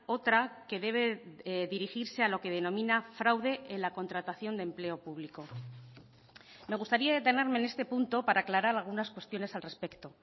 otra que debe dirigirse a lo que denomina fraude en la contratación de empleo público me gustaría detenerme en este punto para aclarar algunas cuestiones al respecto